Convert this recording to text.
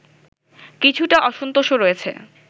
কিছুটা অসন্তোষও রয়েছে